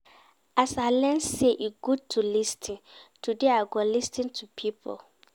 As I learn sey e good to lis ten, today I go lis ten to pipo.